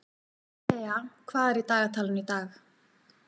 Thea, hvað er í dagatalinu í dag?